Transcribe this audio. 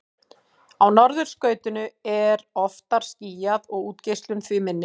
á norðurskautinu er oftar skýjað og útgeislun því minni